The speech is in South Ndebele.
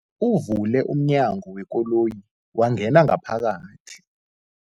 Uvule umnyango wekoloyi wangena ngaphakathi.